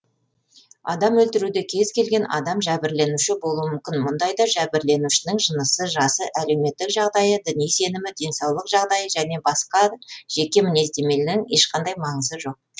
адам өлтіруде кез келген адам жәбірленуші болуы мүмкін мұндайда жәбірленушінің жынысы жасы әлеуметтік жағдайы діни сенімі денсаулық жағдайы және басқа да жеке мінездемелінің ешқандай маңызы жоқ